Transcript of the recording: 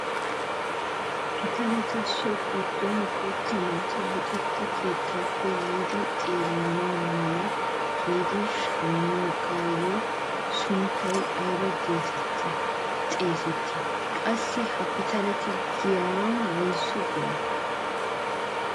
Pitaleta so giddon guutta naati luxetta keettaappe yiidi xeellana mala giidi shammiyoogaa sunttay ayba getetti xeegettii? qassi ha pitalee giyaan woysu biree?